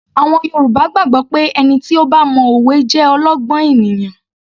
Àwọn Yorùbá gbàgbọ́ pé ẹni tí ó bá mo òwe jẹ́ olọ́gbọ́n ènìyàn